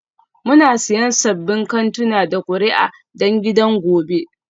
Muna siyan sabbin kantuna da kuri'a don gidan gobe